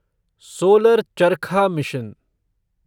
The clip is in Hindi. सोलर चरखा मिशन